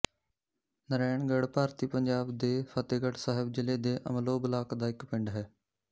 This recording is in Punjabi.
ਨਰੈਣਗੜ੍ਹ ਭਾਰਤੀ ਪੰਜਾਬ ਦੇ ਫ਼ਤਹਿਗੜ੍ਹ ਸਾਹਿਬ ਜ਼ਿਲ੍ਹੇ ਦੇ ਅਮਲੋਹ ਬਲਾਕ ਦਾ ਇੱਕ ਪਿੰਡ ਹੈ